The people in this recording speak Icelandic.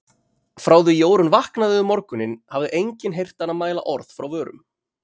Frá því Jórunn vaknaði um morguninn hafði enginn heyrt hana mæla orð frá vörum.